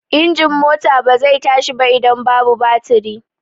Injin mota ba zai tashi ba idan babu batiri.